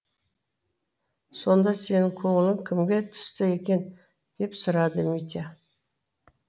сонда сенің көңілің кімге түсті екен деп сұрады митя